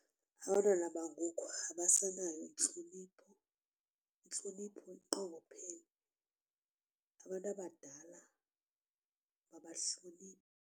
Abantwana bangoku abasenayo intlonipho, intlonipho inqongophele abantu abadala abahlonitshwa.